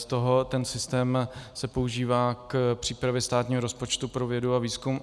Z toho ten systém se používá k přípravě státního rozpočtu pro vědu a výzkum.